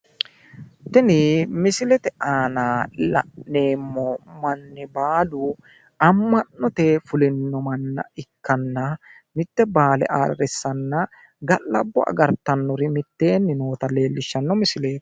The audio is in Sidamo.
Tini misilete aana la'neemmo manni baalu amma'note fulino manna ikkana mitte baale ayirrissanna ga'labbo agartannori mitteenni noota leellishshano misileeti.